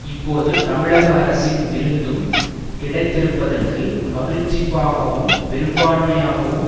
இப்போது தமிழக அரசின் விருதும் கிடைத்திருப்பதற்கு மகிழ்ச்சிபாகவும் பெரும்பான்மையாகவும்